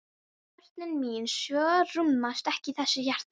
Sveinninn kvað það vel til fallið og gekk fram.